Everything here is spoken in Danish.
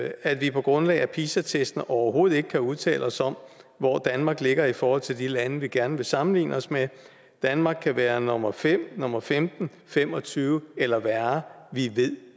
at vi på grundlag af pisa testene overhovedet ikke kan udtale os om hvor danmark ligger i forhold til de lande vi gerne vil sammenligne os med danmark kan være nummer fem nummer femten fem og tyve eller ringere vi ved